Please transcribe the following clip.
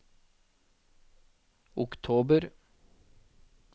oktober